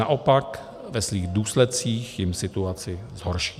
Naopak, ve svých důsledcích jim situaci zhorší.